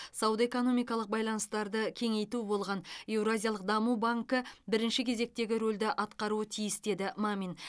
сауда экономикалық байланыстарды кеңейту болған еуразиялық даму банкі бірінші кезектегі рөлді атқаруы тиіс деді мамин